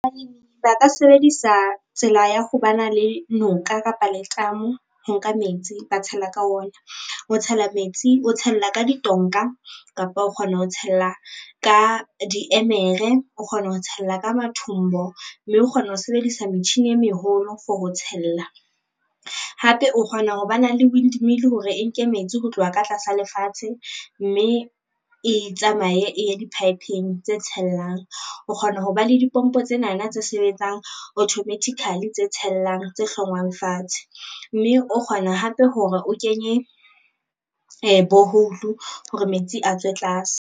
Ba ka sebedisa tsela ya ho ba na le noka kapa letamo ho nka metsi ba tshela ka ona, o tshela metsi o tshella ka ditonka, kapa o kgona ho tshella ka diemere, o kgona ho tshella ka mathombo mme o kgona ho sebedisa metjhini e meholo for ho tshella. Hape kgona ho ba na le windmill hore e nke metsi ho tloha ka tlasa lefatshe mme e tsamaye e ye di-pipe-ng tse tshellang, o kgona ho ba le dipompo tsenana tse sebetsang automatically tse tshellang tse hlongwang fatshe, mme o kgona hape hore o kenye borehole hore metsi a tswe tlase.